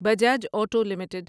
Bajaj auto limited